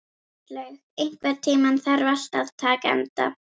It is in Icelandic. Bjarnlaug, einhvern tímann þarf allt að taka enda.